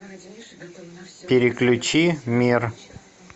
переключи мир